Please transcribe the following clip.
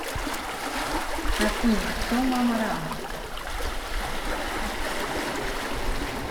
афина кто мама рама